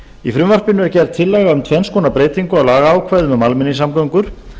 í frumvarpinu er gerð tillaga um tvenns konar breytingu á lagaákvæðum um almenningssamgöngur